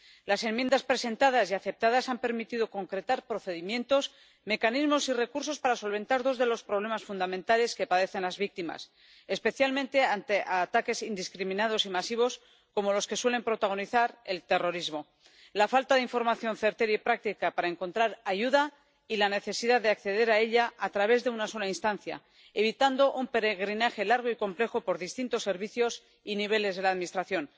Las enmiendas presentadas y aceptadas han permitido concretar procedimientos, mecanismos y recursos para solventar dos de los problemas fundamentales que padecen las víctimas, especialmente ante ataques indiscriminados y masivos como los que suele protagonizar el terrorismo la falta de información certera y práctica para encontrar ayuda y la necesidad de acceder a ella a través de una sola instancia, evitando un peregrinaje largo y complejo por distintos servicios y niveles de la Administración.